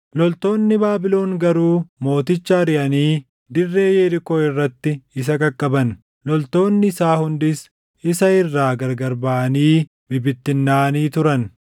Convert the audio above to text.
loltoonni Baabilon garuu mooticha ariʼanii dirree Yerikoo irratti isa qaqqaban. Loltoonni isaa hundis isa irraa gargar baʼanii bibittinnaaʼanii turan;